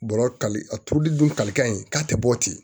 Bɔrɔ ka a turuli dun kalikan in k'a tɛ bɔ ten